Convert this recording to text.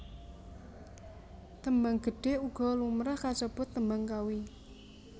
Tembang Gedhe uga lumrah kasebut Tembang Kawi